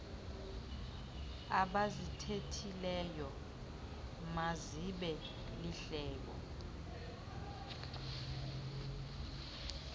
abazithethileyo mazibe lihlebo